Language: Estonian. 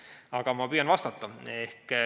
Aga ma püüan vastata.